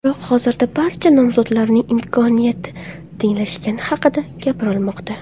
Biroq hozirda barcha nomzodlarning imkoniyati tenglashgani haqida gapirilmoqda.